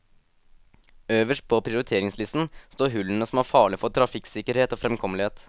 Øverst på prioriteringslisten står hullene som er farlige for trafikksikkerhet og fremkommelighet.